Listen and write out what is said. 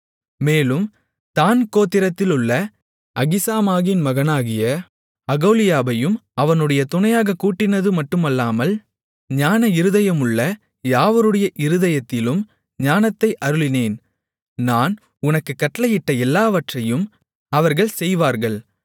மேலும் தாண் கோத்திரத்திலுள்ள அகிசாமாகின் மகனாகிய அகோலியாபையும் அவனுடன் துணையாகக் கூட்டினதுமட்டுமல்லாமல் ஞான இருதயமுள்ள யாவருடைய இருதயத்திலும் ஞானத்தை அருளினேன் நான் உனக்குக் கட்டளையிட்ட எல்லாவற்றையும் அவர்கள் செய்வார்கள்